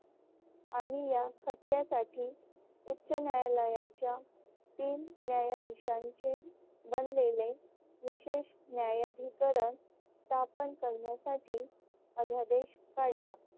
आणि या खटल्यासाठी उच्च न्यायालयाच्या तीन न्यायाधीशांचे बनलेले विशेष न्यायाधिकरण स्थापन करण्यासाठी अध्यादेश काढला.